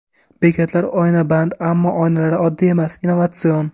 Bekatlar oynaband, ammo oynalari oddiy emas, innovatsion.